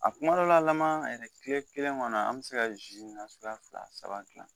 A kumadɔla laman tile kelen kɔnɔ , an be se ka zi nasuguya fila saba gilan.